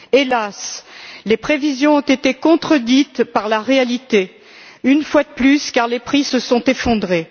Hélas, les prévisions ont été contredites par la réalité, une fois de plus, car les prix se sont effondrés.